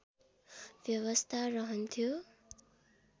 व्यवस्था रहन्थ्यो